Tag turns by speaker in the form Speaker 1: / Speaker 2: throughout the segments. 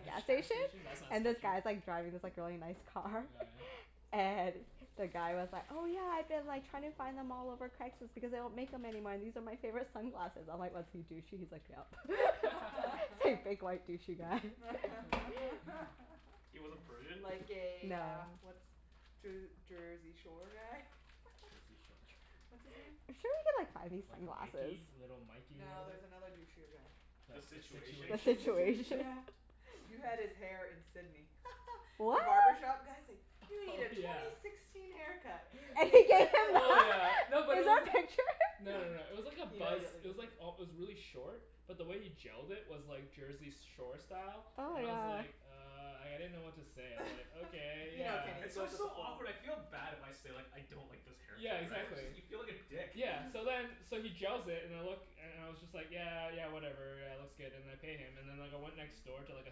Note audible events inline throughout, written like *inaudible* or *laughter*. Speaker 1: gas
Speaker 2: gas
Speaker 1: station,
Speaker 2: station? That's not
Speaker 1: and this
Speaker 2: sketchy.
Speaker 1: guy's like driving this like really nice
Speaker 2: Oh
Speaker 1: car.
Speaker 2: yeah?
Speaker 1: *laughs* And the guy was like, "Oh yeah, I've been like trying to find them all over Craigslist because they don't make them anymore and these are my favorite sunglasses." I'm like, "Was he douchey?" He's like, "Yep." *laughs*
Speaker 2: *laughs*
Speaker 1: He's like a
Speaker 3: *laughs*
Speaker 1: big white douchey guy. *laughs*
Speaker 2: *laughs*
Speaker 4: He
Speaker 3: *laughs*
Speaker 4: wasn't
Speaker 2: *noise*
Speaker 4: Persian?
Speaker 3: Like a uh
Speaker 1: No.
Speaker 3: what's Jer- Jersey Shore guy?
Speaker 2: Jersey Shore.
Speaker 3: *laughs* What's his name?
Speaker 1: I'm sure we could like find these
Speaker 2: Like
Speaker 1: sunglasses.
Speaker 2: Mikey. Little Mikey, or
Speaker 3: No,
Speaker 2: whatever?
Speaker 3: there's another douchier guy.
Speaker 2: The
Speaker 4: The
Speaker 2: the
Speaker 4: Situation?
Speaker 1: The
Speaker 3: The
Speaker 2: Situation?
Speaker 3: Situation,
Speaker 1: Situation?
Speaker 3: yeah.
Speaker 1: *laughs*
Speaker 3: You
Speaker 2: *laughs*
Speaker 3: had his hair in Sidney. *laughs* The
Speaker 1: What?
Speaker 3: barbershop guy's like, "You need
Speaker 2: Oh
Speaker 3: a twenty
Speaker 2: yeah.
Speaker 3: sixteen haircut."
Speaker 1: And
Speaker 3: And
Speaker 1: he
Speaker 3: he
Speaker 1: gave
Speaker 3: went
Speaker 1: him
Speaker 3: like
Speaker 2: Oh
Speaker 3: this.
Speaker 2: yeah.
Speaker 1: that? *laughs*
Speaker 2: No, but it
Speaker 1: Is there a
Speaker 2: wasn't
Speaker 1: picture?
Speaker 2: No no no, it was like a
Speaker 3: *laughs* He
Speaker 2: buzz,
Speaker 3: immediately
Speaker 2: it was like
Speaker 3: *inaudible*
Speaker 2: al- it was really short. But the way he gelled it was like Jersey s- Shore style.
Speaker 1: Oh
Speaker 2: And
Speaker 1: my
Speaker 2: I
Speaker 3: Yeah.
Speaker 2: was
Speaker 1: god.
Speaker 2: like "Uh," like, I didn't know what to say, I was like,
Speaker 3: *laughs*
Speaker 2: "Okay,
Speaker 3: You know
Speaker 2: yeah."
Speaker 3: Kenny. He
Speaker 4: It's
Speaker 3: goes
Speaker 4: always
Speaker 3: with
Speaker 4: so
Speaker 3: the flow.
Speaker 4: awkward. I feel bad if I say like "I don't like this haircut,"
Speaker 2: Yeah,
Speaker 4: right?
Speaker 2: exactly.
Speaker 4: You feel like a dick.
Speaker 2: Yeah. So
Speaker 3: *noise*
Speaker 2: then, so he gels it and it look and and I was just like "Yeah, yeah whatever, yeah it looks good." And I pay him. And then like I went next door to like a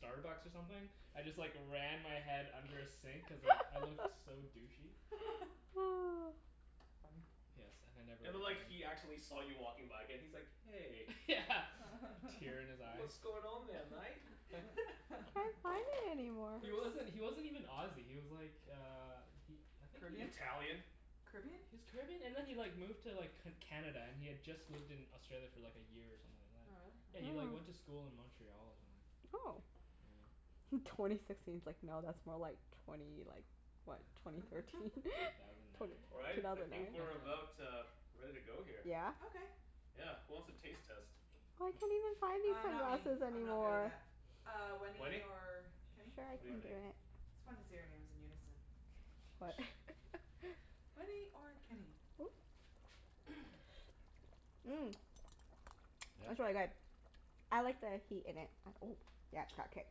Speaker 2: Starbucks or something. I just like ran my head under a sink cuz like I looked
Speaker 1: *laughs*
Speaker 2: so douchey.
Speaker 3: *laughs*
Speaker 1: *noise*
Speaker 3: Funny.
Speaker 2: Yes, and I never
Speaker 4: And then like
Speaker 2: returned.
Speaker 4: he actually saw you walking by again. He's like, "Hey."
Speaker 2: Yeah, a tear in his
Speaker 3: *laughs*
Speaker 2: eye.
Speaker 4: "What's going on there, mate?" *laughs*
Speaker 1: Can't find
Speaker 3: *laughs*
Speaker 1: it anymore.
Speaker 2: He wasn't, he wasn't even Aussie, he was like uh he, I think he
Speaker 3: Caribbean?
Speaker 4: Italian?
Speaker 3: Caribbean?
Speaker 2: He was Caribbean and then he like moved to like C- Canada, and he had just lived in Australia for like a year or something like that.
Speaker 3: Oh,
Speaker 2: Yeah,
Speaker 3: really?
Speaker 2: he
Speaker 3: Oh.
Speaker 2: like went
Speaker 1: Mm.
Speaker 2: to school in Montreal or something.
Speaker 1: Oh.
Speaker 2: Yeah.
Speaker 1: Twenty sixteen's like no, that's more like twenty like what?
Speaker 2: Yeah.
Speaker 1: Twenty thirteen?
Speaker 3: *laughs*
Speaker 1: *laughs*
Speaker 2: Two thousand nine.
Speaker 1: Twenty,
Speaker 4: All right.
Speaker 1: two
Speaker 4: I
Speaker 1: thousand nine?
Speaker 4: think we're
Speaker 2: *laughs*
Speaker 4: about uh ready to go here.
Speaker 1: Yeah?
Speaker 3: Okay.
Speaker 4: Yeah. Who wants a taste test?
Speaker 1: I can't even find these
Speaker 3: Uh, not me.
Speaker 1: sunglasses
Speaker 3: I'm not good at
Speaker 1: anymore.
Speaker 3: that. Uh, Wenny
Speaker 4: Wenny?
Speaker 3: or Kenny?
Speaker 1: Sure, I
Speaker 2: Go
Speaker 4: What do
Speaker 2: for
Speaker 4: you
Speaker 1: can
Speaker 2: it.
Speaker 1: do
Speaker 4: think?
Speaker 1: it.
Speaker 3: It's fun to say our names in unison.
Speaker 1: What? *laughs*
Speaker 2: *noise*
Speaker 3: Wenny or Kenny?
Speaker 1: Ooh.
Speaker 2: *noise*
Speaker 1: Mmm, *noise* that's really
Speaker 4: Yeah?
Speaker 1: good. I like the heat in it and ooh, yeah, it's got kick.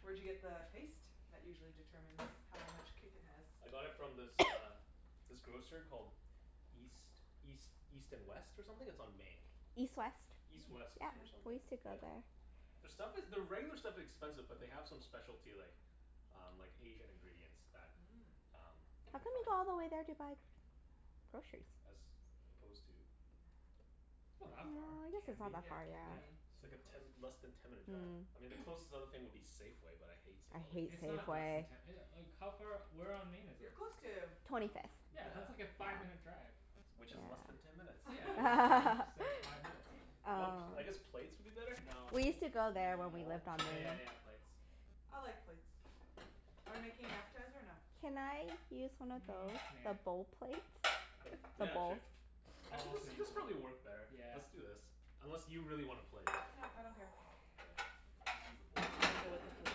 Speaker 3: Where'd you get the paste? That usually determines how much kick it has.
Speaker 4: I got it from this uh
Speaker 1: *noise*
Speaker 4: this grocer called East East East and West, or something? It's on Main.
Speaker 1: East West.
Speaker 4: East
Speaker 2: Hmm.
Speaker 4: West,
Speaker 3: Oh
Speaker 1: Yeah.
Speaker 4: or
Speaker 3: yeah?
Speaker 1: We
Speaker 4: something,
Speaker 1: used to go
Speaker 4: yeah.
Speaker 1: there.
Speaker 4: Their stuff is, their regular stuff expensive but they have some specialty like um like Asian ingredients that
Speaker 3: Mm.
Speaker 4: um you
Speaker 1: How
Speaker 4: can
Speaker 1: come
Speaker 4: find.
Speaker 1: you go all the way there to buy groceries?
Speaker 4: As opposed to?
Speaker 2: It's not
Speaker 4: Where?
Speaker 1: Well,
Speaker 2: that far.
Speaker 1: I guess it's not
Speaker 2: Cambie.
Speaker 1: that
Speaker 3: Yeah.
Speaker 1: far,
Speaker 3: Cambie,
Speaker 1: yeah.
Speaker 2: Yeah,
Speaker 3: Main.
Speaker 4: It's like
Speaker 2: super
Speaker 4: a
Speaker 2: close.
Speaker 4: ten, less than ten minute drive.
Speaker 1: Mm.
Speaker 4: I mean the
Speaker 2: *noise*
Speaker 4: closest other thing would be Safeway, but I hate
Speaker 1: I
Speaker 4: Safeway.
Speaker 1: hate
Speaker 2: It's not less than
Speaker 1: Safeway.
Speaker 2: ten e- like how far, where on Main is
Speaker 3: You're
Speaker 2: it?
Speaker 3: close to, oh no,
Speaker 1: Twenty fifth.
Speaker 2: Yeah, that's like
Speaker 3: wait. *noise*
Speaker 4: Yeah.
Speaker 2: a five minute drive.
Speaker 4: Which is less than
Speaker 1: Yeah.
Speaker 4: ten minutes.
Speaker 2: Yeah, just why
Speaker 3: *laughs*
Speaker 2: didn't you say
Speaker 1: *laughs*
Speaker 2: five minutes then?
Speaker 4: Do you want,
Speaker 1: Um
Speaker 4: I guess plates would be better?
Speaker 2: No,
Speaker 1: We
Speaker 2: bowl
Speaker 1: used to go there when we
Speaker 4: Bowl?
Speaker 1: lived
Speaker 2: uh,
Speaker 1: on
Speaker 2: okay yeah
Speaker 1: Main.
Speaker 2: yeah yeah plates.
Speaker 3: I like plates.
Speaker 2: *noise*
Speaker 3: Are we making an appetizer or no?
Speaker 1: Can I use one of
Speaker 2: Mm,
Speaker 1: those?
Speaker 2: nah.
Speaker 1: The bowl plates?
Speaker 3: *noise*
Speaker 1: The
Speaker 4: Yeah,
Speaker 1: bowls?
Speaker 4: sure. I
Speaker 2: I'll
Speaker 4: think this
Speaker 2: also use
Speaker 4: this
Speaker 2: one.
Speaker 4: probably work better.
Speaker 2: Yeah.
Speaker 4: Let's do this. Unless you really want a plate?
Speaker 3: No, I don't care.
Speaker 4: Okay, we'll just use the bowls
Speaker 3: I go with
Speaker 4: then.
Speaker 3: the flow.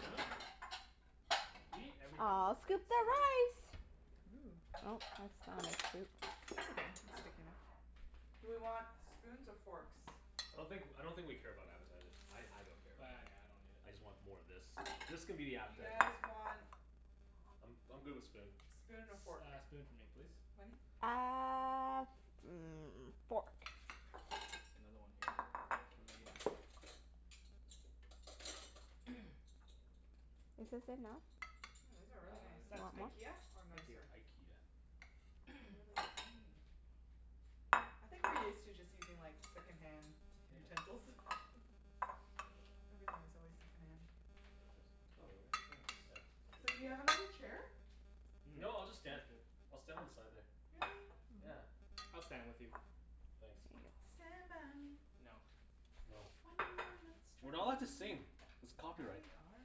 Speaker 2: Huh? You eat everything with
Speaker 1: I'll
Speaker 2: a plate,
Speaker 1: scoop the
Speaker 2: Susan.
Speaker 1: rice.
Speaker 3: Ooh.
Speaker 1: Oh, that's not a scoop. This'll do.
Speaker 3: That's okay. It's
Speaker 1: It's thick
Speaker 3: sticky enough.
Speaker 1: enough.
Speaker 3: Do we want spoons or forks?
Speaker 4: I don't think, I don't think we care about appetizers. I I don't care about
Speaker 2: Bah,
Speaker 4: them.
Speaker 2: nah, I don't need it.
Speaker 4: I just want more of this. This can be the
Speaker 3: You
Speaker 4: appetizer.
Speaker 3: guys want
Speaker 4: I'm I'm good with spoon.
Speaker 3: spoon and a fork.
Speaker 2: S- uh spoon for me, please.
Speaker 3: Wenny?
Speaker 1: Uh, hmm, fork.
Speaker 2: Another one here for later. *noise*
Speaker 1: Is this enough?
Speaker 3: Mm, these are really
Speaker 2: Uh
Speaker 3: nice.
Speaker 1: You
Speaker 2: that's
Speaker 1: want
Speaker 2: good.
Speaker 1: more?
Speaker 3: IKEA, or
Speaker 2: Thank you.
Speaker 3: nicer?
Speaker 4: IKEA.
Speaker 3: They're
Speaker 2: *noise*
Speaker 3: really thin. I think we're used to just using like second-hand
Speaker 2: *laughs*
Speaker 3: utensils. *laughs* Everything is always second-hand.
Speaker 4: Take this. Oh
Speaker 2: Oh,
Speaker 4: really?
Speaker 2: thanks.
Speaker 3: So, do you have
Speaker 4: Yeah. *inaudible*
Speaker 3: another chair?
Speaker 2: Mmm,
Speaker 4: No, I'll just stand.
Speaker 2: that's good.
Speaker 4: I'll stand on the side there.
Speaker 3: Really?
Speaker 4: Yeah.
Speaker 3: Oh.
Speaker 2: I'll stand with you.
Speaker 4: Thanks.
Speaker 1: *inaudible*
Speaker 3: Stand by me.
Speaker 2: No.
Speaker 4: No.
Speaker 3: When you're not
Speaker 4: We're not allowed to
Speaker 3: strong.
Speaker 4: sing. It's
Speaker 3: Yeah,
Speaker 4: copyright.
Speaker 3: we are.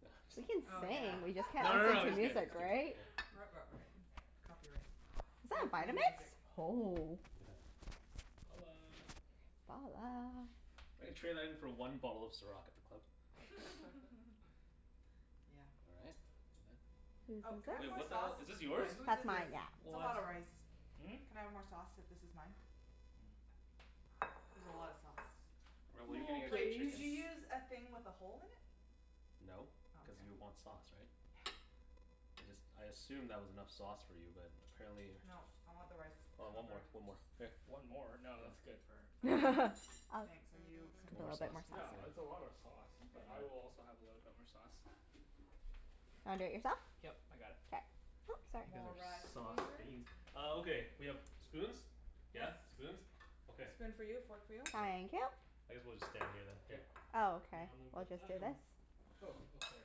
Speaker 4: *laughs*
Speaker 1: We
Speaker 4: Just,
Speaker 1: can
Speaker 3: Oh,
Speaker 2: *noise*
Speaker 3: yeah.
Speaker 1: sing, we just can't
Speaker 4: no no
Speaker 3: *laughs*
Speaker 1: listen
Speaker 4: no
Speaker 1: to
Speaker 4: just kidding.
Speaker 3: There's
Speaker 1: music,
Speaker 4: Just
Speaker 3: copy.
Speaker 4: kidding.
Speaker 1: right?
Speaker 2: *noise*
Speaker 3: Right, right, right. Copyright.
Speaker 1: Is that
Speaker 3: No
Speaker 1: a
Speaker 3: playing
Speaker 1: Vitamix?
Speaker 3: music.
Speaker 1: Oh.
Speaker 4: Yeah.
Speaker 2: Balla.
Speaker 1: Ballah.
Speaker 4: I could trade that in for one bottle of Ciroc at the club.
Speaker 3: *laughs*
Speaker 2: *laughs*
Speaker 3: Yeah.
Speaker 4: All right. And that.
Speaker 1: Whose
Speaker 3: Oh, can I
Speaker 1: is
Speaker 3: have
Speaker 4: Wait,
Speaker 3: more
Speaker 4: what
Speaker 1: this?
Speaker 4: the
Speaker 3: sauce?
Speaker 4: hell? Is this
Speaker 3: Oh, wait.
Speaker 4: yours?
Speaker 3: Whose
Speaker 1: That's
Speaker 3: is this?
Speaker 1: mine, yeah.
Speaker 3: It's a lot
Speaker 4: What?
Speaker 3: of rice.
Speaker 2: Hmm?
Speaker 3: Can I have more sauce, if this is mine?
Speaker 2: Mm.
Speaker 3: There's a lot of sauce.
Speaker 4: Well, what are you gonna
Speaker 2: More,
Speaker 4: get for
Speaker 3: Wait. Did
Speaker 2: please.
Speaker 4: chicken?
Speaker 3: you use a thing with a hole in it?
Speaker 4: No,
Speaker 3: Oh,
Speaker 4: cuz
Speaker 3: okay.
Speaker 4: you want sauce, right?
Speaker 3: Yeah.
Speaker 4: I just, I assumed that was enough sauce for you, but apparently
Speaker 3: Nope. I want the rice
Speaker 4: Oh, one more,
Speaker 3: covered.
Speaker 4: one more. Here.
Speaker 2: One more? No,
Speaker 4: Yeah.
Speaker 2: that's good for her.
Speaker 3: That's good.
Speaker 1: *laughs* I'll scoop
Speaker 3: Thanks. Are you con-
Speaker 1: a
Speaker 4: Want more
Speaker 1: little bit more
Speaker 4: sauce?
Speaker 1: sauce
Speaker 2: No,
Speaker 1: in
Speaker 4: Yeah.
Speaker 2: that's a lot of
Speaker 1: it.
Speaker 2: sauce, but
Speaker 4: Where's
Speaker 3: Okay.
Speaker 2: I
Speaker 4: mine?
Speaker 2: will also have a little bit more sauce.
Speaker 1: Do you wanna do it yourself?
Speaker 2: Yep, I got it.
Speaker 1: K. Oops,
Speaker 4: You guys
Speaker 3: More
Speaker 1: sorry.
Speaker 3: rice
Speaker 4: are sauce
Speaker 3: here.
Speaker 4: fiends. Oh, okay. We have spoons?
Speaker 3: Yes.
Speaker 4: Yeah, spoons? Okay.
Speaker 3: Spoon for you, fork for you.
Speaker 4: Good.
Speaker 1: Thank you.
Speaker 4: I guess we'll just stand here then. Yeah.
Speaker 2: Yep.
Speaker 1: Oh,
Speaker 2: Here,
Speaker 1: okay.
Speaker 2: I'll move
Speaker 1: We'll
Speaker 2: with,
Speaker 1: just
Speaker 2: I
Speaker 1: do
Speaker 2: got one.
Speaker 1: this.
Speaker 2: Oh, oh sorry.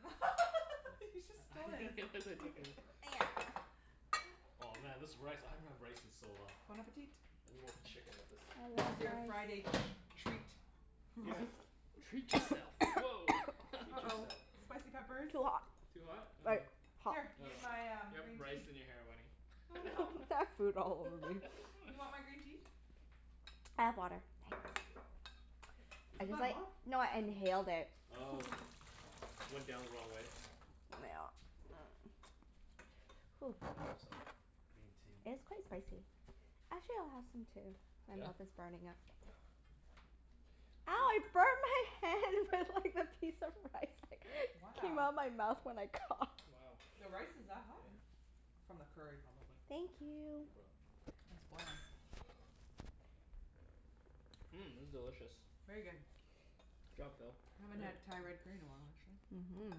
Speaker 3: *laughs*
Speaker 4: Thanks.
Speaker 3: He just stole
Speaker 2: *laughs* I
Speaker 3: his.
Speaker 2: guess I took it.
Speaker 3: *laughs*
Speaker 1: There.
Speaker 4: Oh man, this rice. I haven't had rice in so long.
Speaker 3: Bon appetit.
Speaker 4: I need more chicken with
Speaker 1: I
Speaker 4: this.
Speaker 3: This
Speaker 1: love
Speaker 3: is your
Speaker 1: rice.
Speaker 3: Friday treat.
Speaker 4: Yeah.
Speaker 3: Rice.
Speaker 2: Treat yourself. Woah. *laughs*
Speaker 4: Treat
Speaker 3: uh-oh.
Speaker 4: yourself.
Speaker 3: Spicy peppers?
Speaker 1: *noise* Too hot.
Speaker 2: Too hot? Oh.
Speaker 1: Like hot.
Speaker 3: Here,
Speaker 1: *noise* I
Speaker 2: Oh.
Speaker 3: use my um
Speaker 2: You have
Speaker 3: green
Speaker 2: rice
Speaker 3: tea.
Speaker 2: in your hair, Wenny.
Speaker 3: Oh
Speaker 2: *laughs*
Speaker 3: no.
Speaker 1: have food all over me.
Speaker 3: *laughs* You want my green tea?
Speaker 1: I have water,
Speaker 3: Okay.
Speaker 1: thanks.
Speaker 4: Is
Speaker 1: I
Speaker 4: it
Speaker 1: just
Speaker 4: that
Speaker 1: like,
Speaker 4: hot?
Speaker 1: no I
Speaker 4: Huh.
Speaker 1: inhaled it.
Speaker 4: Oh.
Speaker 3: *laughs*
Speaker 4: Went down the wrong way?
Speaker 1: Nyeah. *noise* Hoo.
Speaker 4: Better have some green tea.
Speaker 1: It is quite spicy. Actually, I'll have some
Speaker 2: *noise*
Speaker 1: too. My
Speaker 4: Yeah?
Speaker 1: mouth is burning up. Ow, I
Speaker 4: Hmm.
Speaker 1: burned my hand with like the piece of rice that came
Speaker 3: Wow.
Speaker 1: out of my mouth when I
Speaker 2: *noise*
Speaker 1: coughed.
Speaker 2: Wow.
Speaker 3: The
Speaker 2: Yeah.
Speaker 3: rice is that hot?
Speaker 4: Yeah.
Speaker 3: From the curry, probably.
Speaker 1: Thank
Speaker 4: No
Speaker 1: you.
Speaker 4: problem.
Speaker 3: It's boiling.
Speaker 2: *noise* Mmm, this is delicious.
Speaker 3: Very good.
Speaker 2: Good job, Phil.
Speaker 3: Haven't had
Speaker 4: Yeah.
Speaker 3: Thai red curry
Speaker 4: *noise*
Speaker 3: in a while, actually.
Speaker 1: Mhm.
Speaker 4: Yeah.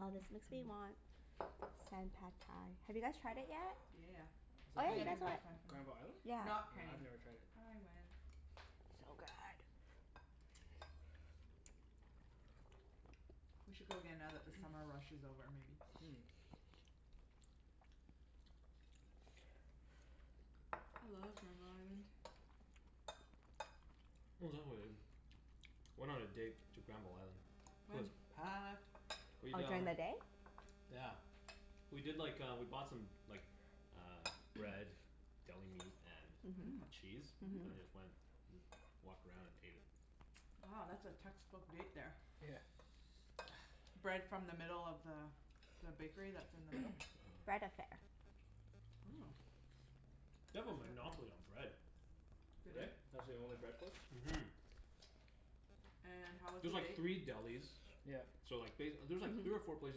Speaker 1: Aw, this makes me want Sen Pad Thai. Have you guys tried it yet?
Speaker 3: Yeah, yeah,
Speaker 2: Is
Speaker 1: Oh
Speaker 2: that the
Speaker 1: yeah, you
Speaker 2: one,
Speaker 1: guys
Speaker 3: yeah. *inaudible*
Speaker 1: went
Speaker 3: last time.
Speaker 2: Granville Island?
Speaker 1: Yeah.
Speaker 2: No,
Speaker 3: Not Kenny.
Speaker 2: I've never tried it.
Speaker 3: I went.
Speaker 1: So good.
Speaker 3: We should go again now that the summer rush is over, maybe?
Speaker 2: *noise* Mm.
Speaker 1: *noise*
Speaker 3: I love Granville Island.
Speaker 4: *noise* Oh, is that what I did? *noise* Went on a date to Granville Island. It was
Speaker 3: When?
Speaker 4: packed.
Speaker 1: *noise* Oh,
Speaker 4: We'd
Speaker 1: during
Speaker 4: um
Speaker 1: the day?
Speaker 4: *noise* Yeah. We did like uh, we bought some like uh bread.
Speaker 1: *noise*
Speaker 4: Deli
Speaker 2: *noise*
Speaker 4: meat
Speaker 1: Mhm.
Speaker 4: and
Speaker 3: Mmm.
Speaker 4: cheese. And then
Speaker 1: Mhm.
Speaker 3: Mmm.
Speaker 4: just went, just walked around and ate it.
Speaker 3: Oh, that's a textbook date, there.
Speaker 2: *noise* Yeah.
Speaker 1: *noise*
Speaker 3: Bread from the middle of the the bakery that's in the middle?
Speaker 1: Bread Affair.
Speaker 3: Oh.
Speaker 4: *noise* They have a monopoly on
Speaker 3: *inaudible*
Speaker 4: bread. *noise*
Speaker 2: *noise*
Speaker 3: They
Speaker 2: Do
Speaker 3: do?
Speaker 2: they? That's the only bread place?
Speaker 4: Mhm.
Speaker 3: And how
Speaker 4: *noise*
Speaker 3: was the
Speaker 4: There's like
Speaker 3: bake?
Speaker 4: three delis
Speaker 2: *noise* Yep.
Speaker 4: *noise* so like ba-
Speaker 1: *noise*
Speaker 4: there's three or
Speaker 1: Mhm.
Speaker 4: four places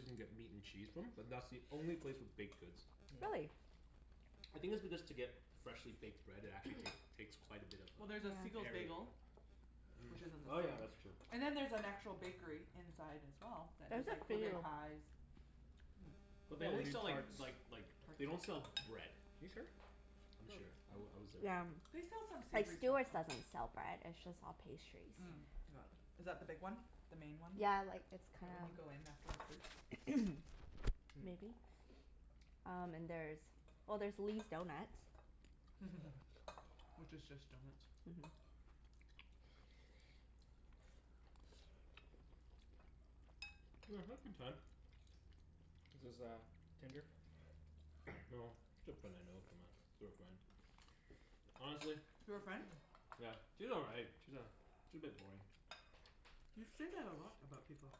Speaker 4: you can get meat and cheese from, but that's the only
Speaker 1: *noise*
Speaker 4: place with baked goods.
Speaker 2: *noise* Mm.
Speaker 1: Really?
Speaker 4: *noise* I think it's because to get freshly baked bread it actually take takes quite a bit of
Speaker 3: Well, there's a
Speaker 4: uh
Speaker 3: Siegel's
Speaker 1: Yeah.
Speaker 4: area.
Speaker 3: Bagel.
Speaker 4: Mm,
Speaker 3: Which isn't the
Speaker 4: oh yeah,
Speaker 3: same.
Speaker 4: that's true.
Speaker 3: And then there's an actual bakery inside, as well, that
Speaker 1: There's
Speaker 3: does
Speaker 1: a
Speaker 3: like blueberry
Speaker 1: few.
Speaker 3: pies. Mmm.
Speaker 2: *noise*
Speaker 4: *noise* But they
Speaker 2: Yeah, we
Speaker 4: only
Speaker 2: do
Speaker 4: sell like
Speaker 2: tarts.
Speaker 4: like like, they
Speaker 3: Tarts.
Speaker 4: don't sell bread.
Speaker 2: You sure?
Speaker 4: I'm
Speaker 2: No,
Speaker 4: sure. I
Speaker 2: oh.
Speaker 4: w- I was there.
Speaker 1: *noise* Yeah.
Speaker 3: They sell some
Speaker 1: Like
Speaker 3: savory stuff,
Speaker 1: Stewart's
Speaker 3: though.
Speaker 1: doesn't sell bread. It's
Speaker 2: *noise*
Speaker 1: just all pastries.
Speaker 2: Mm.
Speaker 3: Mm
Speaker 2: *noise*
Speaker 3: *noise* is that the big one? The main one?
Speaker 1: Yeah, like it's
Speaker 3: Right
Speaker 1: kinda
Speaker 3: when you go in, after the fruits?
Speaker 1: *noise*
Speaker 2: Mm.
Speaker 1: Maybe. Um and there's, well there's Lee's Donuts. *noise*
Speaker 3: *laughs* Which is just
Speaker 4: *noise*
Speaker 3: donuts.
Speaker 1: Mhm.
Speaker 2: *noise* *noise*
Speaker 4: *noise* I had a good time. *noise* No,
Speaker 2: Is this
Speaker 4: just a
Speaker 2: uh Tinder?
Speaker 4: girl I know from uh, through a friend. *noise* Honestly
Speaker 3: Through a friend?
Speaker 2: *noise*
Speaker 4: *noise* Yeah, she's all right. She's a she's a bit boring.
Speaker 3: You say that a lot about people.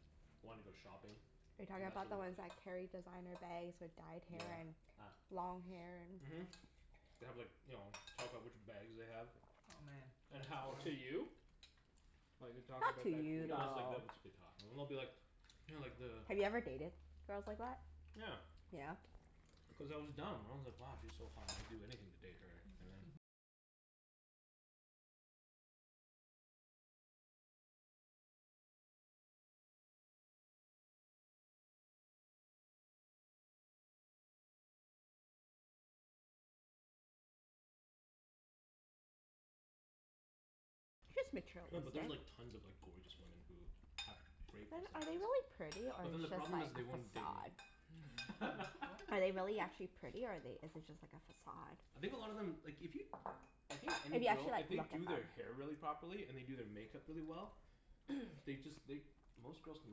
Speaker 1: *noise* Are you talking about the ones that carry designer bags with dyed hair
Speaker 4: Yeah,
Speaker 1: and
Speaker 4: ah.
Speaker 1: long hair and
Speaker 4: Mhm. *noise* They have like, you know, talk about which bags they have.
Speaker 3: Oh man
Speaker 4: *noise* And
Speaker 3: *inaudible*
Speaker 4: how
Speaker 2: To you? *noise* Like, they're
Speaker 1: *noise*
Speaker 2: talking
Speaker 1: Not
Speaker 2: about
Speaker 1: to
Speaker 2: that to
Speaker 4: *noise*
Speaker 1: you,
Speaker 4: No,
Speaker 2: you?
Speaker 4: that's like,
Speaker 1: though.
Speaker 4: they'll just be talking. And they'll be like *noise* you know like the
Speaker 1: Have you ever dated girls like that?
Speaker 4: *noise* Yeah.
Speaker 1: Yeah?
Speaker 4: Cuz I was dumb. I was like, "Wow, she's so hot. I would do anything to date
Speaker 3: *noise*
Speaker 4: her." And then
Speaker 1: Just
Speaker 4: No, but there's like
Speaker 1: materialistic.
Speaker 4: tons of like gorgeous women who have great
Speaker 1: Then are they
Speaker 4: personalities.
Speaker 1: really pretty,
Speaker 4: *noise*
Speaker 1: or
Speaker 4: But
Speaker 1: is
Speaker 4: then the
Speaker 1: it just
Speaker 4: problem
Speaker 1: like
Speaker 4: is
Speaker 1: a
Speaker 4: they won't date me.
Speaker 1: facade?
Speaker 3: Hmm? What?
Speaker 1: Are they really actually
Speaker 4: *laughs*
Speaker 1: pretty or are they, is it just like a facade?
Speaker 4: *noise*
Speaker 2: *noise*
Speaker 4: I think a lot of them, like if you I think
Speaker 1: If
Speaker 4: any
Speaker 1: you actually
Speaker 4: girl, if
Speaker 1: like look
Speaker 4: they
Speaker 1: at
Speaker 4: do
Speaker 1: them?
Speaker 4: their hair really properly, and they do their makeup really well they just, they, most girls can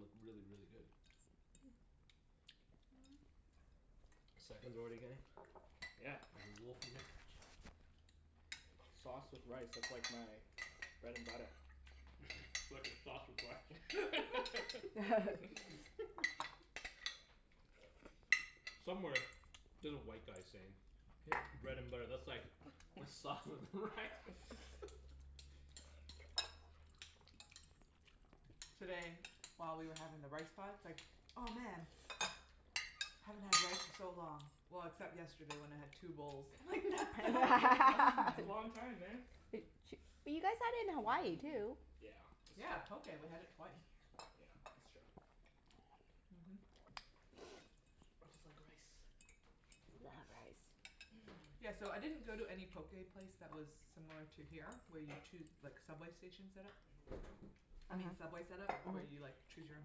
Speaker 4: look really, really good. *noise* Seconds already getting?
Speaker 2: Yeah.
Speaker 4: There's a wolf in there?
Speaker 2: Sauce with rice. That's like my bread and butter.
Speaker 3: *noise*
Speaker 4: *noise* Sauce with rice. *laughs*
Speaker 1: *laughs*
Speaker 2: *laughs*
Speaker 4: *noise* Somewhere there's a white guy saying *noise* bread and butter, that's like my sauce with rice.
Speaker 2: *laughs*
Speaker 4: *laughs*
Speaker 3: Today, while we were having the rice pot, it's like, "Oh, man!"
Speaker 2: *noise*
Speaker 3: "Haven't had rice in so long. Well, except yesterday when I had two bowls."
Speaker 1: *noise*
Speaker 3: I'm like, "That's
Speaker 2: *laughs*
Speaker 3: not very long,
Speaker 2: That's a
Speaker 3: then."
Speaker 1: *laughs*
Speaker 2: long time, man.
Speaker 1: Bu-
Speaker 2: *laughs*
Speaker 1: ch- but you guys had it in Hawaii too.
Speaker 2: *noise* Yeah, that's
Speaker 3: Yeah,
Speaker 2: true.
Speaker 3: poké. We had it twice.
Speaker 2: Yeah, that's true. *noise* I
Speaker 4: *noise*
Speaker 3: *noise* Mhm. *noise*
Speaker 2: just like rice.
Speaker 1: *noise* Love rice.
Speaker 2: *noise*
Speaker 3: Yeah, so I didn't go to any poké place that was similar to here where you choo- like, subway station set-up.
Speaker 1: *noise*
Speaker 3: I
Speaker 1: uh-huh.
Speaker 3: mean Subway set-up, where you like
Speaker 1: Mhm.
Speaker 3: choose your own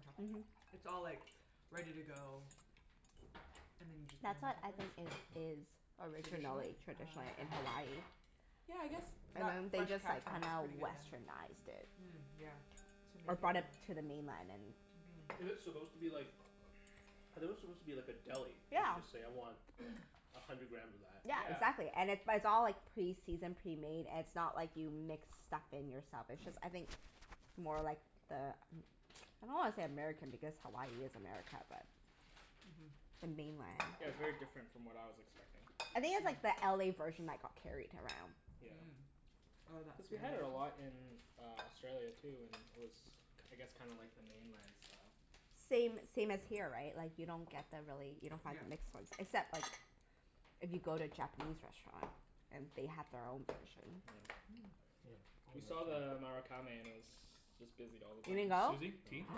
Speaker 3: toppings.
Speaker 1: Mhm.
Speaker 3: It's all like ready to go
Speaker 2: *noise*
Speaker 3: and then you just get
Speaker 1: That's
Speaker 3: on the
Speaker 1: what I think
Speaker 3: subway.
Speaker 1: is is
Speaker 3: Traditionally?
Speaker 1: originally
Speaker 2: *noise*
Speaker 3: Ah,
Speaker 1: traditionally
Speaker 3: okay.
Speaker 1: in Hawaii.
Speaker 4: *noise*
Speaker 3: Yeah, I guess
Speaker 1: And
Speaker 3: that
Speaker 1: then they
Speaker 3: Fresh
Speaker 1: just like
Speaker 3: Catch one is
Speaker 1: kinda
Speaker 3: pretty good then.
Speaker 1: Westernized it.
Speaker 3: Mm, yeah. To make
Speaker 1: Or
Speaker 3: it more
Speaker 1: brought it to the mainland and
Speaker 4: *noise*
Speaker 3: Mhm.
Speaker 4: Is it supposed to be like I thought it was supposed to be like a deli, and
Speaker 1: Yeah.
Speaker 4: you just say, "I want a hundred
Speaker 2: *noise*
Speaker 4: grams of that."
Speaker 1: Yeah,
Speaker 2: Yeah.
Speaker 1: exactly. And it it's all like pre-seasoned, pre-made. It's not like you mix stuff in yourself. It's just I think more like the Am-
Speaker 3: *noise*
Speaker 1: I don't wanna say American, because Hawaii is America, but
Speaker 3: Mhm.
Speaker 1: the mainland.
Speaker 2: Yeah, it's very different from what I was expecting.
Speaker 1: I think it's
Speaker 3: *noise*
Speaker 1: like the LA
Speaker 2: *noise*
Speaker 1: version that got carried around.
Speaker 2: Yeah.
Speaker 3: Mm.
Speaker 4: *noise*
Speaker 3: Oh, that?
Speaker 2: Cuz we had it a
Speaker 3: *inaudible*
Speaker 2: lot in uh Australia, too, and it was k- I guess kinda like the mainland style.
Speaker 1: *noise* Same same as here, right? Like you don't get the really, you don't find
Speaker 3: Yep.
Speaker 1: the mixed ones. Except like if you go to a Japanese restaurant. And they have their own version.
Speaker 3: Mm.
Speaker 4: *noise*
Speaker 2: We saw the Marukame and it was just busy all the
Speaker 1: You didn't
Speaker 2: time.
Speaker 1: go?
Speaker 4: Susie, tea?
Speaker 2: No.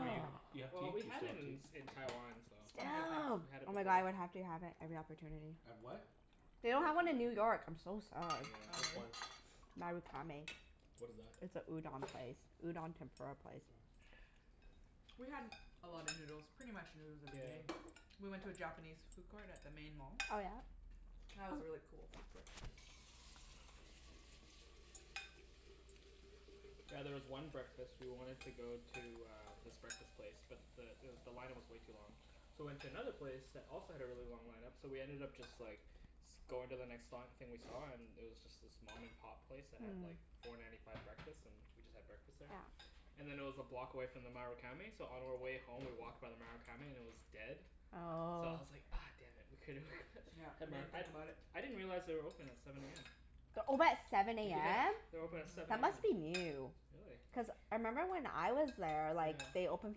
Speaker 4: Are you, do you have
Speaker 2: Well,
Speaker 4: tea? Do
Speaker 2: we
Speaker 4: you
Speaker 2: had
Speaker 4: still
Speaker 2: it
Speaker 4: want
Speaker 2: in
Speaker 4: tea?
Speaker 2: in Taiwan, so
Speaker 3: I'm good, thanks.
Speaker 1: Damn.
Speaker 2: we
Speaker 1: Oh
Speaker 2: had it
Speaker 1: my god,
Speaker 2: before.
Speaker 1: I would have to have it every opportunity.
Speaker 4: Have what?
Speaker 2: Mhm.
Speaker 1: They don't have one in New
Speaker 2: Marukame.
Speaker 1: York. I'm so sad.
Speaker 3: Oh,
Speaker 4: Which
Speaker 2: Yeah.
Speaker 3: really?
Speaker 4: one?
Speaker 1: Marukame.
Speaker 4: What is that?
Speaker 1: It's a udon place.
Speaker 2: *noise*
Speaker 1: Udon tempura place.
Speaker 4: *noise*
Speaker 3: We had a lot of
Speaker 2: *noise*
Speaker 3: noodles. Pretty much noodles every
Speaker 2: Yeah.
Speaker 3: day. We went to a Japanese food court at the main mall.
Speaker 1: Oh yeah?
Speaker 3: That was a really
Speaker 1: Oh.
Speaker 3: cool food court.
Speaker 2: Yeah, there was one breakfast, we wanted to go to uh this breakfast place but the it w- the line up was way too long. So we went to another place that also had a really long line up. So we ended up just like going to the next li- thing we saw
Speaker 1: *noise*
Speaker 2: and it was just this mom and pop place that had like
Speaker 1: Hmm.
Speaker 2: four ninety five breakfast. And we just had breakfast there.
Speaker 1: Yeah.
Speaker 2: And then it was a block away from the Marukame so on our way home we walked by the Marukame and it was dead. So I
Speaker 1: Oh.
Speaker 2: was like, ah damn it. We
Speaker 3: *noise*
Speaker 2: coulda we
Speaker 3: Yep.
Speaker 2: could *laughs*
Speaker 3: We
Speaker 2: had more,
Speaker 3: didn't
Speaker 2: I
Speaker 3: think about it.
Speaker 2: I didn't realize they were open at
Speaker 1: *noise*
Speaker 2: seven a m.
Speaker 1: They're open at seven a
Speaker 2: Yeah.
Speaker 1: m?
Speaker 2: They're open at
Speaker 3: Mhm.
Speaker 2: seven
Speaker 1: That
Speaker 2: a m.
Speaker 1: must be new.
Speaker 2: Really?
Speaker 1: Cuz I member when I was there, like
Speaker 2: Yeah.
Speaker 1: they opened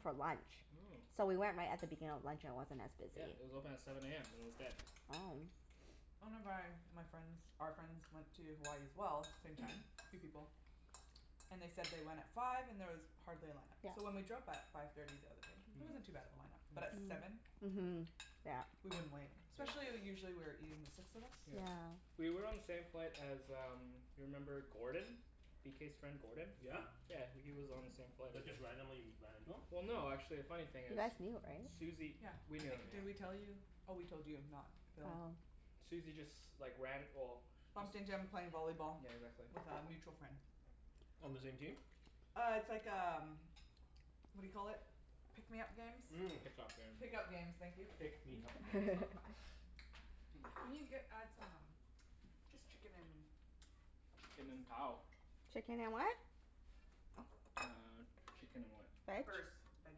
Speaker 1: for lunch.
Speaker 2: Mm.
Speaker 1: So we went right at the beginning of lunch and it wasn't as
Speaker 2: Yeah,
Speaker 1: busy.
Speaker 2: it was open at seven a m and it was dead.
Speaker 1: Oh.
Speaker 3: One of my my friends, our friends went to Hawaii as well. Same time. Three people. And they said they went at five and there was hardly a line
Speaker 1: *noise*
Speaker 3: up. So when
Speaker 1: Yeah.
Speaker 3: we drove by at five thirty the other day,
Speaker 1: *noise*
Speaker 2: *noise* Hmm.
Speaker 3: it
Speaker 2: Mm.
Speaker 3: wasn't too bad of a line up. But at seven?
Speaker 1: Mm.
Speaker 3: Li-
Speaker 1: Mhm. Yeah.
Speaker 3: we wouldn't wait.
Speaker 2: Yeah.
Speaker 3: Especially usually we were eating, the six of us.
Speaker 2: Yeah.
Speaker 1: Yeah.
Speaker 2: We were on the same flight as um you remember Gordon? B k's friend,
Speaker 4: *noise*
Speaker 2: Gordon?
Speaker 4: Yeah?
Speaker 2: Yeah. W- he was on the same
Speaker 4: *noise*
Speaker 2: flight as
Speaker 4: But
Speaker 2: us.
Speaker 4: just randomly ran into him?
Speaker 2: Well no, actually, a funny thing
Speaker 1: You
Speaker 2: is
Speaker 1: guys knew, right?
Speaker 2: Susie,
Speaker 3: Yeah.
Speaker 2: we
Speaker 3: I
Speaker 2: knew him,
Speaker 3: think,
Speaker 2: yeah.
Speaker 3: did we tell you? Oh, we told you, not Phil.
Speaker 1: Oh.
Speaker 2: Susie just like ran, well
Speaker 4: *noise*
Speaker 2: just
Speaker 3: Bumped into him
Speaker 4: *noise*
Speaker 3: playing volleyball
Speaker 2: Yeah, exactly.
Speaker 3: with a mutual friend.
Speaker 4: On the same team?
Speaker 3: Uh, it's like um what do you call it? Pick me up games?
Speaker 2: *noise*
Speaker 4: *noise* Mm.
Speaker 2: Pick up games.
Speaker 3: Pick up games. Thank you.
Speaker 4: Pick me up games.
Speaker 2: *laughs*
Speaker 1: *laughs*
Speaker 3: *laughs*
Speaker 2: *laughs*
Speaker 3: Can you get add some um Just chicken and
Speaker 2: *noise*
Speaker 3: peppers, please?
Speaker 2: Chicken and cow. *noise*
Speaker 1: Chicken and what?
Speaker 2: Uh, chicken and what?
Speaker 1: Veg?
Speaker 3: Peppers. *inaudible*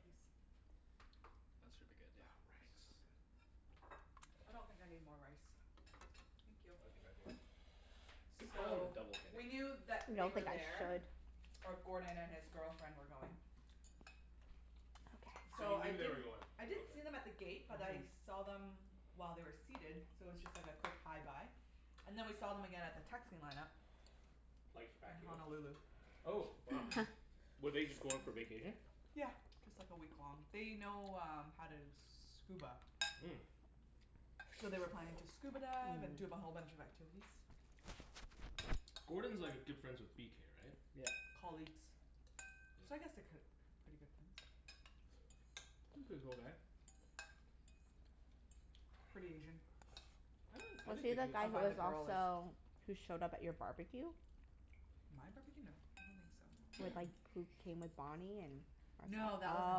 Speaker 3: please?
Speaker 2: That should be good,
Speaker 4: Oh,
Speaker 2: yeah.
Speaker 4: rice is so
Speaker 2: Thanks.
Speaker 4: good.
Speaker 3: I don't think I need more rice. Thank you.
Speaker 4: I think I do. Good call on the
Speaker 3: So,
Speaker 4: double,
Speaker 3: we
Speaker 4: Kenny.
Speaker 3: knew that they
Speaker 1: Don't
Speaker 3: were
Speaker 1: think I
Speaker 3: there
Speaker 1: should.
Speaker 3: or Gordon and his girlfriend were going.
Speaker 4: So
Speaker 3: So
Speaker 4: you
Speaker 1: *noise*
Speaker 3: I
Speaker 1: Okay,
Speaker 4: knew
Speaker 1: fine.
Speaker 4: they were
Speaker 3: didn't
Speaker 4: going?
Speaker 3: I didn't
Speaker 4: Okay.
Speaker 3: see them at the gate
Speaker 2: *noise*
Speaker 3: but I
Speaker 2: Mhm.
Speaker 3: saw them while they were seated so it was just like a quick hi bye. And then we saw them again at the taxi line up.
Speaker 4: Like, back
Speaker 3: In
Speaker 4: here?
Speaker 3: Honolulu.
Speaker 4: Oh, wow.
Speaker 1: *laughs*
Speaker 4: Were they just going for vacation?
Speaker 3: Yeah, just like a week long. They know um how to scuba.
Speaker 4: Mm.
Speaker 2: *noise*
Speaker 3: So they were planning to
Speaker 1: *noise*
Speaker 3: scuba dive and do a whole
Speaker 1: Mmm.
Speaker 3: bunch of activities.
Speaker 4: Gordon's like a good friends with b k, right?
Speaker 2: Yep.
Speaker 3: Colleagues. So I
Speaker 4: Yeah.
Speaker 3: guess they're ki-
Speaker 2: *noise*
Speaker 3: k- pretty good friends.
Speaker 2: He's a pretty cool guy. *noise*
Speaker 3: Pretty Asian.
Speaker 2: *noise* I
Speaker 1: *noise*
Speaker 2: don't, I
Speaker 1: Was
Speaker 2: didn't
Speaker 1: he
Speaker 2: think
Speaker 1: the
Speaker 2: he was
Speaker 3: I
Speaker 1: guy who
Speaker 2: super
Speaker 3: find the
Speaker 1: was
Speaker 2: Asian.
Speaker 3: girl is.
Speaker 1: also, who showed up at your barbecue? *noise*
Speaker 3: My barbecue? No, I don't think so.
Speaker 1: With like, who came with Bonnie and *inaudible*
Speaker 2: *noise*
Speaker 3: No, that wasn't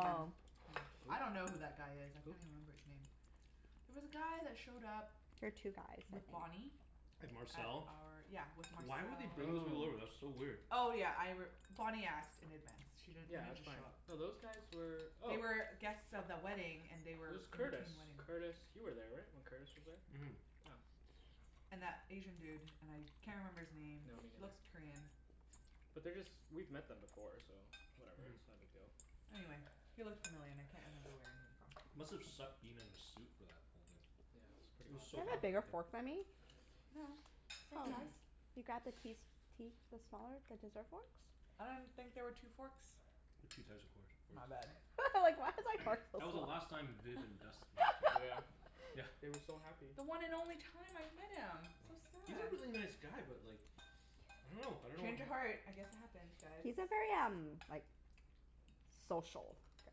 Speaker 3: him, no. I don't know who that guy is.
Speaker 1: *noise*
Speaker 3: I
Speaker 2: Who?
Speaker 1: There
Speaker 2: Who?
Speaker 3: can't even remember his name. There was a guy that showed up
Speaker 1: were two guys, I
Speaker 3: with Bonnie
Speaker 1: think.
Speaker 4: And
Speaker 3: at
Speaker 4: Marcel?
Speaker 3: our, yeah, with
Speaker 2: *noise*
Speaker 4: *noise*
Speaker 3: Marcel.
Speaker 4: Why would they bring those people
Speaker 2: Oh. *noise*
Speaker 4: over? That's so weird.
Speaker 3: Oh, yeah, I r- Bonnie asked in advance. She didn't, they
Speaker 2: Yeah,
Speaker 3: didn't
Speaker 2: that's
Speaker 3: just show
Speaker 2: fine.
Speaker 3: up.
Speaker 2: No, those guys were
Speaker 3: They
Speaker 2: oh
Speaker 3: were guests of the wedding, and they
Speaker 2: It
Speaker 3: were
Speaker 2: was
Speaker 3: in
Speaker 2: Curtis.
Speaker 3: between wedding.
Speaker 2: Curtis you were there, right? When Curtis was there?
Speaker 4: *noise*
Speaker 2: Yeah.
Speaker 3: And that Asian dude. And I can't remember his name.
Speaker 2: No, me
Speaker 3: He
Speaker 2: neither.
Speaker 3: looks Korean.
Speaker 2: But they're just, we've met them before, so
Speaker 4: *noise*
Speaker 2: whatever. It's no big deal.
Speaker 4: Mm.
Speaker 3: Anyway,
Speaker 1: *noise*
Speaker 3: he looked familiar and I can't remember where I knew him from.
Speaker 4: *noise* Must have sucked being in a suit for that whole thing.
Speaker 2: Yeah, it's pretty
Speaker 4: It
Speaker 1: *noise*
Speaker 4: was
Speaker 1: Do
Speaker 2: hot
Speaker 4: so
Speaker 1: you have
Speaker 2: back
Speaker 1: a
Speaker 4: hot
Speaker 1: bigger
Speaker 2: there.
Speaker 4: that day.
Speaker 1: fork than me?
Speaker 3: No, same
Speaker 1: Oh.
Speaker 3: size.
Speaker 1: You grabbed the key s- key the smaller, the dessert forks?
Speaker 3: I didn't think there were two forks.
Speaker 4: *noise* There's two size of course forks.
Speaker 3: My bad.
Speaker 1: *laughs* I was like why is my fork so
Speaker 4: *noise* That was the
Speaker 1: small?
Speaker 4: last time Viv and
Speaker 2: *noise*
Speaker 3: *laughs*
Speaker 4: Dustin were
Speaker 2: Yeah.
Speaker 4: together. Yeah.
Speaker 1: *laughs*
Speaker 2: They were so happy.
Speaker 3: The one and only time I met him. So
Speaker 4: Yeah. He's a
Speaker 3: sad.
Speaker 4: really nice guy but like I don't know. I don't know what
Speaker 3: Change of
Speaker 4: uh
Speaker 3: heart. I guess it happens,
Speaker 1: *noise*
Speaker 3: guys.
Speaker 1: He's a very um like social guy.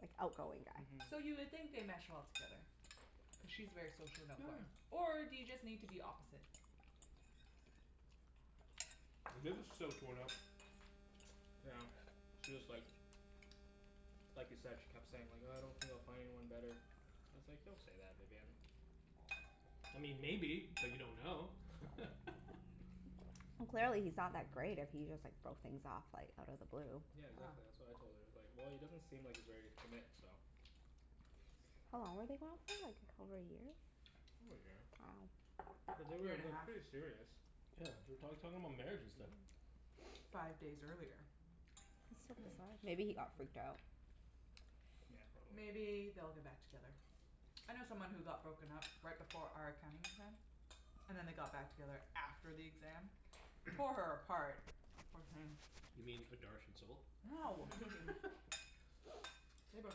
Speaker 1: Like, outgoing guy.
Speaker 2: Mhm.
Speaker 3: So you would think they mesh well together. Cuz she's very social and outgoing. Or do you just need to be opposite?
Speaker 4: Yeah. *noise* Viv was so torn up.
Speaker 2: *noise* Yeah, she was like *noise* like you said, she kept saying like, "Uh I don't think I'll find anyone better." I was like, "Don't say that, Vivienne."
Speaker 4: *noise*
Speaker 1: *noise*
Speaker 4: I mean maybe, but you don't know. *laughs*
Speaker 1: Well clearly he's not that great if he just like broke things off like out of the blue.
Speaker 3: *noise*
Speaker 2: *noise* Yeah,
Speaker 3: uh-huh.
Speaker 2: exactly. That's what I told her. I was like, "Well, he doesn't seem like he's ready to commit, so"
Speaker 1: How long were they going out for? Like over a year?
Speaker 2: *noise* Over a year. *noise* But they
Speaker 3: Year
Speaker 2: were
Speaker 3: and a
Speaker 2: like
Speaker 3: half.
Speaker 2: pretty serious.
Speaker 4: *noise*
Speaker 1: Wow. *noise*
Speaker 4: Yeah, they were talk talking about marriage and stuff.
Speaker 3: *noise* Five days earlier.
Speaker 1: *noise*
Speaker 3: That's so bizarre.
Speaker 1: Maybe he got freaked
Speaker 3: *noise*
Speaker 1: out.
Speaker 2: *noise* Yeah, probably.
Speaker 3: Maybe they'll get back together. I know someone who got broken up right before our accounting exam. And then they got back together after the exam. Tore her apart,
Speaker 1: *noise*
Speaker 3: poor thing.
Speaker 4: *noise* You mean *inaudible*
Speaker 2: *noise*
Speaker 3: No.
Speaker 4: *laughs*
Speaker 3: They broke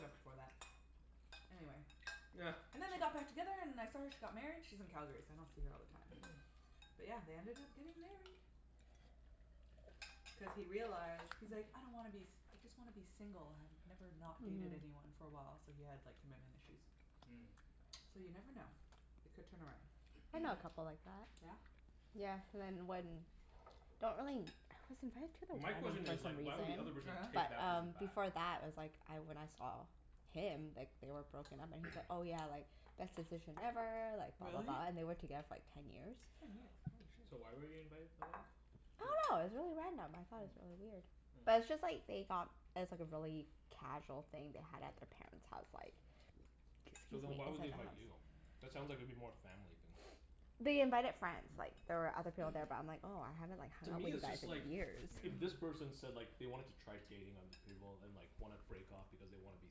Speaker 3: up before that. Anyway. And then they got back together and I saw her, she got married. She's in Calgary so I don't see her all the time. But yeah, they ended up getting married. Cuz he realized, he's like, "I don't wanna be s- I just wanna be single." "I've never
Speaker 1: *noise*
Speaker 3: not dated anyone for a while." So he had
Speaker 2: *noise*
Speaker 3: like commitment issues.
Speaker 2: Mm.
Speaker 3: So you never know. It could turn around.
Speaker 1: Mhm. *noise* I know a
Speaker 2: *noise*
Speaker 1: couple like that.
Speaker 4: *noise*
Speaker 3: Yeah?
Speaker 1: Yeah, cuz I *inaudible* Don't really, I was invited to
Speaker 4: *noise*
Speaker 1: the
Speaker 4: My
Speaker 1: wedding,
Speaker 4: question
Speaker 1: for
Speaker 4: is like why would the
Speaker 1: some reason.
Speaker 4: other
Speaker 3: Oh
Speaker 4: person
Speaker 3: yeah?
Speaker 4: take
Speaker 1: But
Speaker 4: that person
Speaker 1: um
Speaker 4: back?
Speaker 1: before that I was like I, when I saw him, like they were broken up and he's like, "Oh yeah, like best decision ever,
Speaker 3: *noise*
Speaker 1: like blah, blah,
Speaker 3: Really?
Speaker 1: blah," and they were together for like ten years.
Speaker 3: Ten years? Holy
Speaker 2: *noise*
Speaker 3: shit.
Speaker 2: So why were you invited for the wedding?
Speaker 1: I dunno. It was
Speaker 2: Di-
Speaker 1: really random. I thought it was really weird.
Speaker 3: *noise*
Speaker 1: But
Speaker 2: Yeah.
Speaker 1: it's
Speaker 2: Hmm.
Speaker 1: just like they got it was like a really casual thing they had at their
Speaker 2: Mm.
Speaker 1: parents' house like k-
Speaker 4: *noise* So
Speaker 1: excuse me.
Speaker 4: then
Speaker 1: It
Speaker 4: why
Speaker 1: was at
Speaker 4: would they
Speaker 1: the
Speaker 4: invite
Speaker 1: house.
Speaker 4: you? That sounds like it'd be more family than
Speaker 1: They invited friends. Like there were other people there, but I'm like, "Oh, I haven't like
Speaker 4: *noise* To
Speaker 1: hung out
Speaker 4: me,
Speaker 1: with you
Speaker 4: it's
Speaker 1: guys
Speaker 4: just like
Speaker 1: in
Speaker 2: *noise* Yeah. *noise*
Speaker 1: years."
Speaker 3: *noise*
Speaker 4: if this
Speaker 3: Mhm.
Speaker 4: person said like they wanted to try dating other people and like wanna break off because they wanna be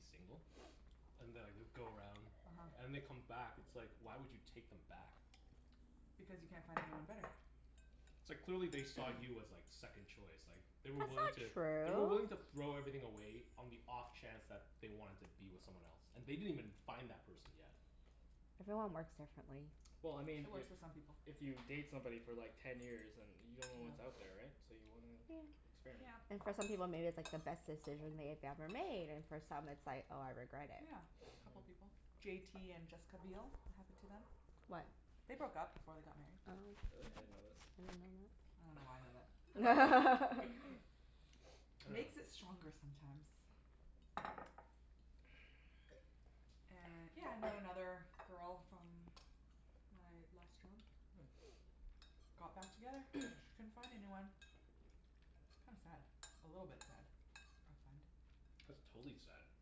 Speaker 4: single. And they'll like go around
Speaker 3: uh-huh.
Speaker 4: and they come back. It's like why would you take them back? *noise*
Speaker 3: Because you can't
Speaker 2: *noise*
Speaker 3: find anyone better.
Speaker 4: It's like clearly they saw you
Speaker 2: *noise*
Speaker 4: as like second choice, like They
Speaker 1: That's
Speaker 4: were wiling
Speaker 1: not
Speaker 4: to They were willing
Speaker 1: true.
Speaker 4: to throw everything away on the off chance that they wanted to be with someone else. And they didn't even find that person yet.
Speaker 1: Everyone works
Speaker 2: *noise*
Speaker 1: differently.
Speaker 2: Well, I mean
Speaker 3: It
Speaker 4: *noise*
Speaker 2: if
Speaker 3: works for some people.
Speaker 2: if you date somebody for like ten years and you
Speaker 3: Yeah.
Speaker 2: don't know what's out there, right? So you wanna experiment.
Speaker 3: Yep.
Speaker 1: And for some people maybe it's like the best decision they had ever made and for some it's like, "Oh, I
Speaker 3: *noise*
Speaker 1: regret it."
Speaker 3: Yeah, a couple
Speaker 2: Mhm.
Speaker 3: people. J t and Jessica Biel. It happened to them. They broke up before they got married.
Speaker 1: Oh.
Speaker 2: Really? I
Speaker 3: Mhm.
Speaker 2: didn't know this.
Speaker 1: *noise*
Speaker 3: I dunno why I know that. *laughs*
Speaker 1: *laughs*
Speaker 2: *laughs*
Speaker 4: *noise* I dunno.
Speaker 3: Makes it stronger sometimes.
Speaker 2: *noise*
Speaker 3: And yeah, I know another girl from my last job. *noise* Got back together. Couldn't find anyone.
Speaker 2: Hmm.
Speaker 3: Kinda sad. A little bit sad. I find.
Speaker 4: *noise* *noise* That's totally sad.
Speaker 1: *noise*
Speaker 2: *noise*